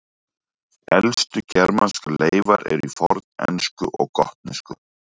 Elstu germanskar leifar eru í fornensku og gotnesku.